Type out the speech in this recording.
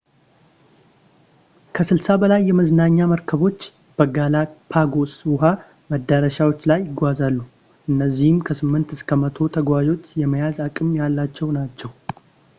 ከ60 በላይ የመዝናኛ መርከቦች በgalapagos ውሃ መዳረሻዎች ላይ ይጓዛሉ - እነዚህም ከ8 እስከ 100 ተጓዦችን የመያዝ አቅም ያላቸው ናቸው